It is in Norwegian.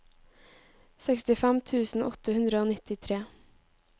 sekstifem tusen åtte hundre og nittitre